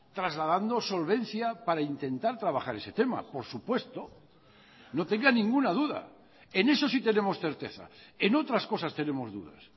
trasladando solvencia para intentar trabajar ese tema por supuesto no tenga ninguna duda en eso sí tenemos certeza en otras cosas tenemos dudas